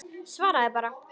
Svaraðu bara.